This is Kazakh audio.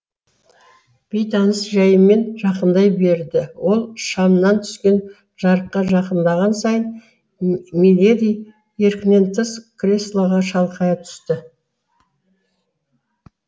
бейтаныс жәйімен жақындай берді ол шамнан түскен жарыққа жақындаған сайын миледи еркінен тыс креслоға шалқая түсті